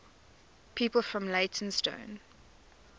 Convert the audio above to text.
people from leytonstone